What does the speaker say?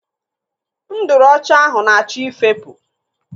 Nduru ọcha ahụ na-achọ ifepu.